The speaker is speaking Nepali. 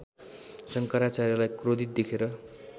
शङ्कराचार्यलाई क्रोधित देखेर